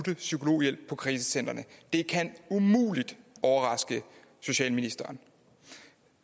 psykologhjælp på krisecentrene det kan umuligt overraske socialministeren